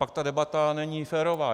Pak ta debata není férová.